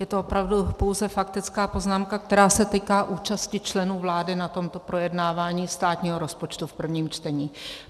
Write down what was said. Je to opravdu pouze faktická poznámka, která se týká účasti členů vlády na tomto projednávání státního rozpočtu v prvním čtení.